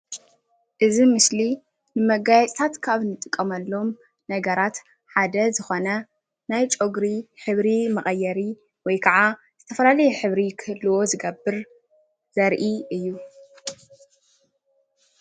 እዚ ምስሊ መጋየፂታት ካብ ንጥቀመሎም ነገራት ሓደ ዝኮነ ናይ ጨጉሪ ሕብሪ መቀየሪ ወይከዓ ዝተፈላለዩ ሕብሪ ክህልዎ ዝገብር ዘርእይ እዩ።